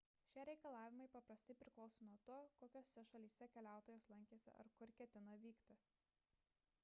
šie reikalavimai paprastai priklauso nuo to kokiose šalyse keliautojas lankėsi ar kur ketina vykti